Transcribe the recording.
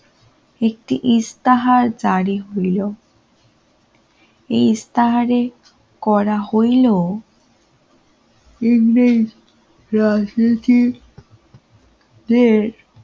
একটি ইসতিহার জারি হল এই তারে করা হইল রাজনীতি তে